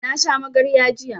Na sha magarya jiya